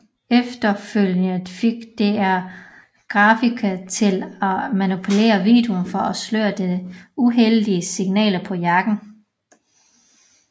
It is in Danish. Efterfølgende fik DR grafikere til at manipulere videoen for at sløre de uheldige signaler på jakken